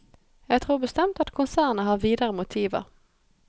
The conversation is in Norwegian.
Jeg tror bestemt at konsernet har videre motiver.